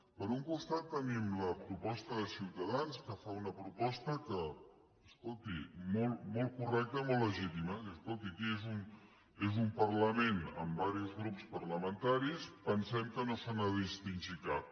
per un costat tenim la proposta de ciutadans que fa una proposta que escolti molt correcta i molt legítima diu escolti aquí és un parlament amb diversos grups parlamentaris pensem que no se n’ha de distingir cap